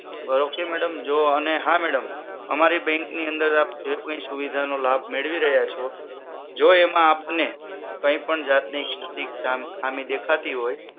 બરોબર છે અને જો હા madam અમારી bank ની અંદર જે કોઈ સુવિધા નો લાભ મેળવી રહ્યા છો જો એમાં આપને કઈ પણ જાતની ખામી દેખાતી હોય